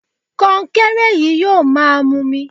Kọnkéré yìí yóò máa mumi